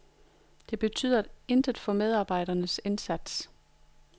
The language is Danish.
Det betyder intet for medarbejderens indsats.